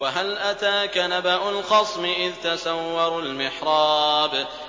۞ وَهَلْ أَتَاكَ نَبَأُ الْخَصْمِ إِذْ تَسَوَّرُوا الْمِحْرَابَ